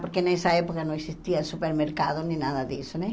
Porque nessa época não existia supermercado nem nada disso né.